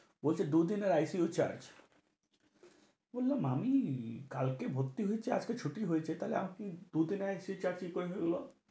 বলছে, দুই দিনের ICU charge । বললাম আমি, কালকে ভর্তি হয়েছি আজকে ছুটি হয়েছে তাইলে আপনি দুই দিনের ICU charge কি করে হলো?